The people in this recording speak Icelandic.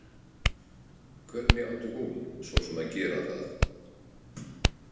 Hvernig átti hún svo sem að gera það?